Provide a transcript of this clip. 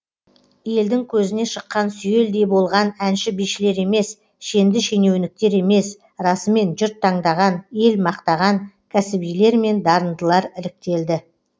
елдің көзіне шыққан сүйелдей болған әнші бишілер емес шенді шенеуніктер емес расымен жұрт таңдаған ел мақтаған кәсібилер мен дарындылар іріктелді